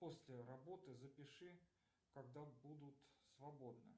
после работы запиши когда будут свободны